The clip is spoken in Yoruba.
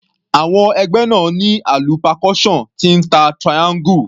Àwọn ẹgbẹ́ náà ní alu percussion tí ń ta triangle.